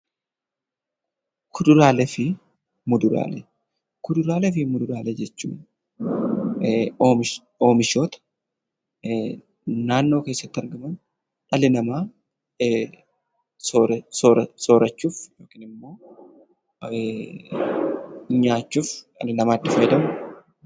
Kuduraalee fi muduraalee. Kuduraalee fi muduraalee jechuun oomishoota naannoo keessatti argaman dhalli namaa soorachuuf yookiin immoo nyaachuuf dhalli namaa itti fayyadamudha.